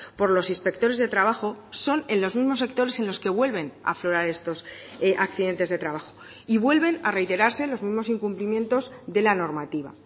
por los inspectores de trabajo son en los mismos sectores en los que vuelven a aflorar estos accidentes de trabajo y vuelven a reiterarse los mismos incumplimientos de la normativa